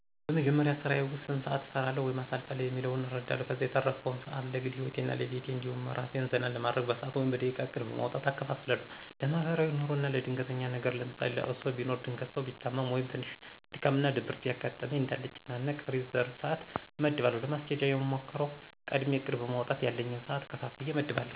በመጀመሪያ ስራየ ዉስጥ ስንት ሰአት እሰራለዉ ወይም አሳልፋለሁ የሚለዉን እረዳለሁ። ከዛ የተረፈዉን ሰአት ለግል ሂወቴ እና ለቤቴ እንዲሁም አራሴን ዘና ለማድረግ በሰአት ወይም በደቂቃ እቅድ በማዉጣት እከፋፍላለሁ። ለማሕበራዉይ ኑሮ አና ለድንገተኛ ነገር ለምሳሌ ለቅሶ ቢኖር ድንገት ሰው ቢታመም ወይም ትንሽ ድካም እና ድብርት ቢያጋጥመኝ እንዳልጨናነቅ ሪዘርብ ሰአት አመድባለሁ። ለማስኬድ የምሞክረዉ፦ ቀድሜ እቅድ በማዉጣት ያለኝን ሰአት ከፋፍየ አመድባለሁ።